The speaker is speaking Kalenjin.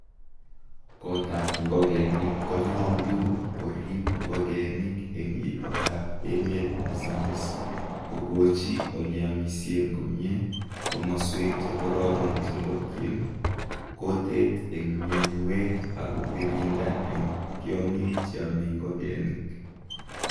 kotab ngokenik konyolu koriip ngokenik en itondab emet nesamis kogochi oleamisien komie, komoswek chekororon chelokyin, koteek en mianwek ak kogirinda en tiongik cheamei ngokenik.